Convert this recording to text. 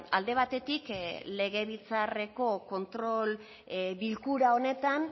alde batetik legebiltzarreko kontrol bilkura honetan